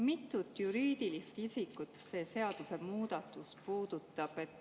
Mitut juriidilist isikut see seadusemuudatus puudutab?